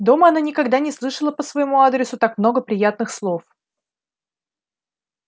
дома она никогда не слышала по своему адресу так много приятных слов